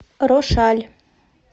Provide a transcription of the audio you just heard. рошаль